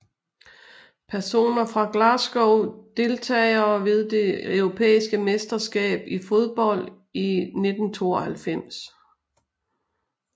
Personer fra Glasgow Deltagere ved det europæiske mesterskab i fodbold 1992